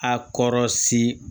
A kɔrɔ si